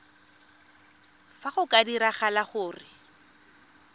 fa go ka diragala gore